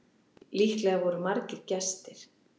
Líklega voru margir gestir.